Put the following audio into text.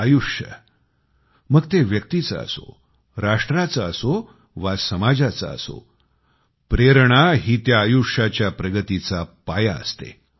आयुष्य मग ते व्यक्तीचे असो राष्ट्राचे असो वा समाजाचे असो प्रेरणा ही त्या आयुष्याच्या प्रगतीचा पाया असते